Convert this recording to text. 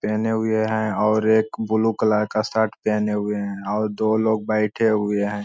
पहने हुए है और एक ब्लू कलर का शर्ट पहने हुए है और दो लोग बैठे हुए है।